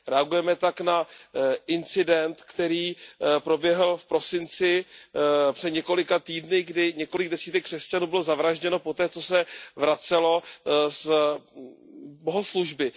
Reagujeme tak na incident, který proběhl v prosinci, před několika týdny, kdy několik desítek křesťanů bylo zavražděno poté, co se vraceli z bohoslužby.